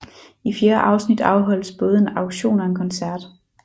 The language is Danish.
I fjerde afsnit afholdes både en auktion og en koncert